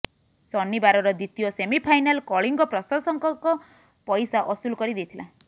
ଶନିବାରର ଦ୍ବିତୀୟ ସେମିଫାଇନାଲ କଳିଙ୍ଗ ପ୍ରଶଂସକଙ୍କ ପଇସା ଅସୁଲ କରି ଦେଇଥିଲା